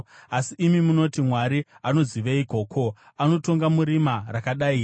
Asi imi munoti, ‘Mwari anoziveiko? Ko, anotonga murima rakadai here?